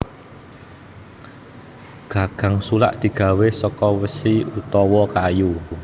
Gagang sulak digawé saka wesi utawa kayu